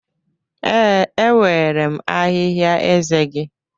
Ee, enwere m ahịhịa eze gị